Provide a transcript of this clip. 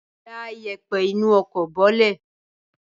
Da ìyẹ̀pẹ̀ inú ọkọ̀ bọ́lẹ̀!